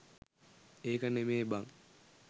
ඒක නෙමේ බන්